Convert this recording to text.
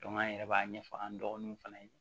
an yɛrɛ b'a ɲɛfɔ an dɔgɔninw fana ye